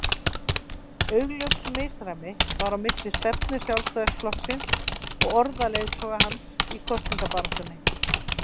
Augljóst misræmi var á milli stefnu Sjálfstæðisflokksins og orða leiðtoga hans í kosningabaráttunni.